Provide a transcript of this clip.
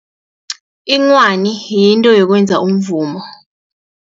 Inghwani yinto yokwenza umvumo.